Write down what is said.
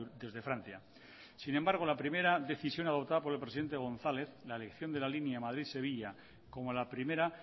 desde francia sin embargo la primera decisión adoptada por el presidente gonzález la elección de la línea madrid sevilla como la primera